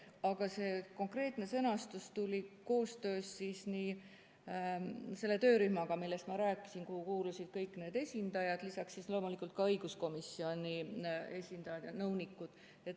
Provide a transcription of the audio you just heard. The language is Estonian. Aga see konkreetne sõnastus tuli koostöös selle töörühmaga, millest ma rääkisin, kuhu kuulusid kõik need esindajad, lisaks loomulikult ka õiguskomisjoni esindajad ja nõunikud.